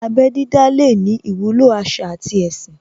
Abẹ́ dídá lè ní ìwúlò àṣà àti ẹ̀sìn